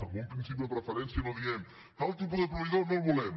en un principi de preferència no diem tal tipus de proveïdor no el volem